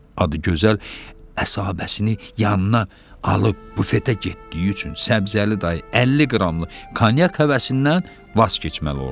Adı gözəl əsahabəsini yanına alıb bufetə getdiyi üçün Səbzəli dayı 50 qramlıq konyak həvəsindən vaz keçməli oldu.